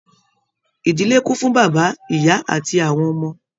Ìdílé kún fún bàbá, ìyá àti àwọn ọmọ.